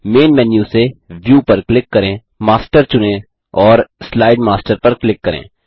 man menu से view पर click करें मास्टर चुनें और स्लाइड मास्टर पर क्लिक करें